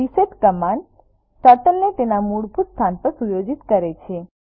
reset command ટર્ટલને તેના મૂળભૂત સ્થાન પર સુયોજિત કરે છે